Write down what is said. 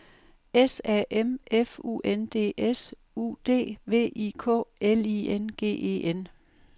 S A M F U N D S U D V I K L I N G E N